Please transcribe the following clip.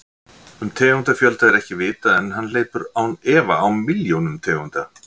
Um tegundafjölda er ekki vitað en hann hleypur án efa á milljónum tegunda.